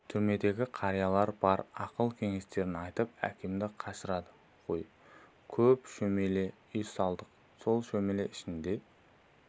түрмедегі қариялар бар ақыл-кеңестерін айтып әкемді қашырады ғой көп шөмеле үй салдық сол шөмеле ішіне